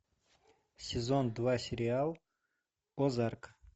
сезон два сериал озарк